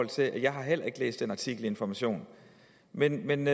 til at jeg heller ikke har læst den artikel i information men men